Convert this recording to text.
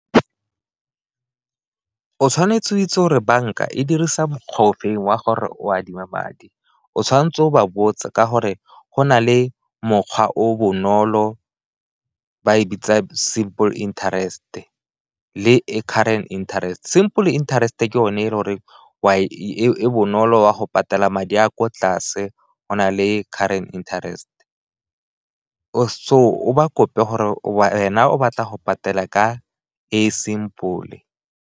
O tshwanetse o itse gore banka e dirisa mokgwa ofe wa gore o adima madi, o tshwanetse o ba botse ka gore go na le mokgwa o bonolo ba e bitsa simple interest le e current interest. Simple interest-e ke o ne e le goreng e bonolo o a go patela madi a ko tlase go na le current interest, so o ba kope gore wena o batla go patela ka e simple.